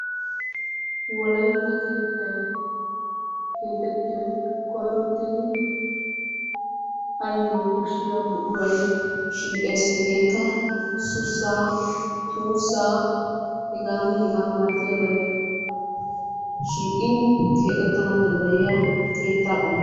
Wolaytta keettay keexettiyoy koyrottidi ayyo koshiya buquray shiiqees. Hegeekka sussaa, tuussaa, hegaanne hegaa malatiyabay shiiqin keexettana danddayiya keettaa qommo.